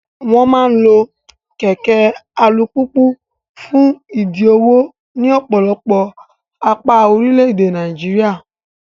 Wọ́n máa ń lo kẹ̀kẹ́ alùpùpù fún ìdí òwò ní ọ̀pọ̀lọpọ̀ apá orílẹ̀-èdè Nàìjíríà.